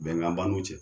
Bɛnkan ban n'u cɛ